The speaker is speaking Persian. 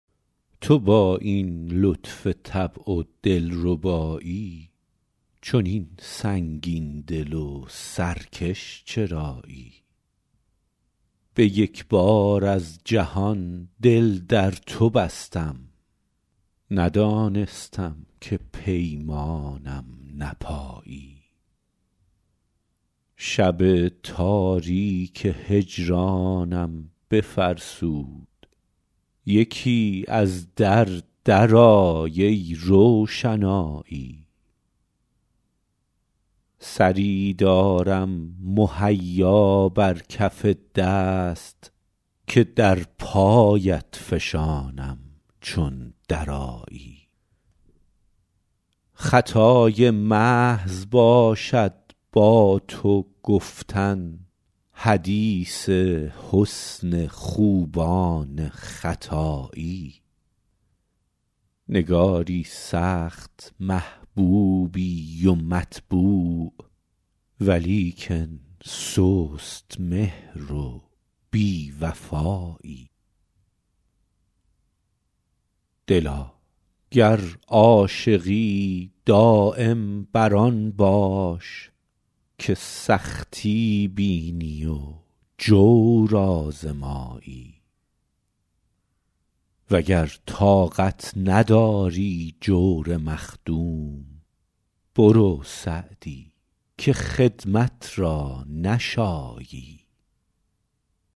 تو با این لطف طبع و دل ربایی چنین سنگین دل و سرکش چرایی به یک بار از جهان دل در تو بستم ندانستم که پیمانم نپایی شب تاریک هجرانم بفرسود یکی از در درآی ای روشنایی سری دارم مهیا بر کف دست که در پایت فشانم چون درآیی خطای محض باشد با تو گفتن حدیث حسن خوبان ختایی نگاری سخت محبوبی و مطبوع ولیکن سست مهر و بی وفایی دلا گر عاشقی دایم بر آن باش که سختی بینی و جور آزمایی و گر طاقت نداری جور مخدوم برو سعدی که خدمت را نشایی